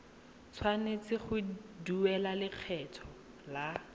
tshwanetse go duela lekgetho la